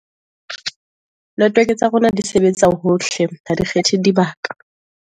network tsa rona di sebetsa hohle, ha di kgetha dibaka.